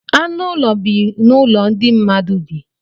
Anụ ụlọ bi n'ụlọ ndị mmadụ bi.